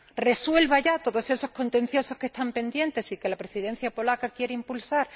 resuelva ya todos esos contenciosos que están pendientes y que la Presidencia polaca quiere impulsar.